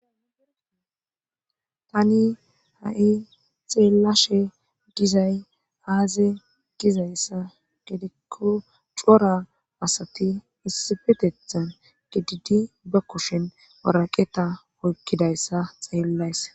tani ha7i xeelashe gizay aaze gizayssa gedikko cora asati issifetethan gididi ba kushin waraqeta oykkidayssa xeellays